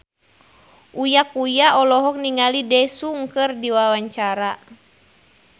Uya Kuya olohok ningali Daesung keur diwawancara